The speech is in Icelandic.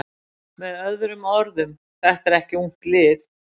Með öðrum orðum: Þetta er ekki ungt lið.